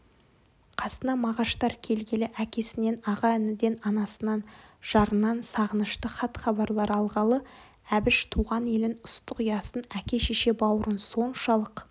қасына мағаштар келгелі әкесінен аға-ініден анасынан жарынан сағынышты хат-хабарлар алғалы әбіш туған елін ыстық ұясын әке-шеше бауырын соншалық